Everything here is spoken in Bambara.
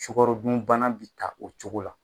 Sukaro dunbana bɛ taa o cogo la.